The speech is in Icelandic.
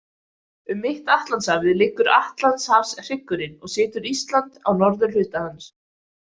Um mitt Atlantshafið liggur Atlantshafshryggurinn og situr Ísland á norðurhluta hans.